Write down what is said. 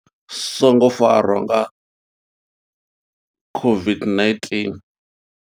Songo farwa nga COVID-19.